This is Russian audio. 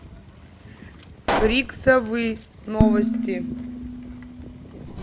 крик совы новости